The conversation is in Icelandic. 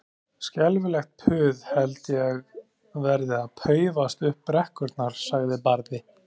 Skelfilegt puð held ég verði að paufast upp brekkurnar, sagði Barði.